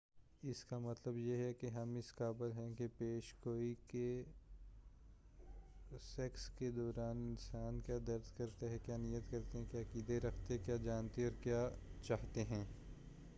اس کا مطلب یہ کہ ہم اس قابل ہیں کہ پیش گوئی کر سکیں کہ دوسرے انسان کیا درک کرتے کیا نیت کرتے کیا عقیدہ رکھتے کیا جانتے اور کیا چاہتے ہیں